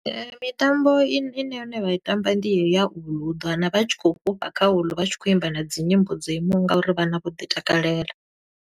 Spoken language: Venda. Mitambo i ne, i ne yone vha i tamba ndi yeyo ya uḽu, u ḓo wana vha tshi khou fhufha kha uḽu vha tshi khou imba na dzi nyimbo dzo imaho nga uri vhana vho ḓi takalela.